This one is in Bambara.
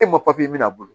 E ma mina bolo